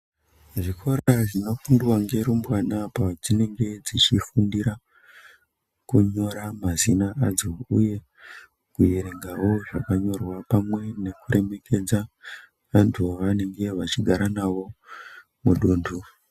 Zvikora zvinofundiwa ngendumurwa padzinenge padzinenge dzichifumdira mazina adzo uye kierengawo zvakanyorwa pamwe nekuremekedza vantu ivava nenge vachigara navo mudunhu.